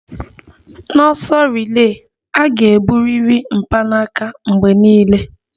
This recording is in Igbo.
N'ọsọ rile, a ga-eburiri mpanaka mgbe niile